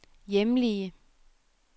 hjemlige